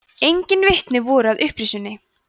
engin vitni voru að upprisunni